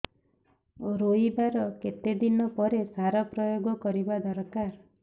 ରୋଈବା ର କେତେ ଦିନ ପରେ ସାର ପ୍ରୋୟାଗ କରିବା ଦରକାର